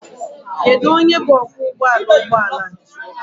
Kedu onye bụ ọkwọụgbọala ụgbọala?